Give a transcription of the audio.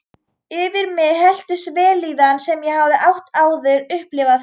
Yfir mig helltist vellíðan sem ég hafði ekki áður upplifað.